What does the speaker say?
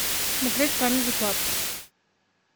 смотреть камеди клаб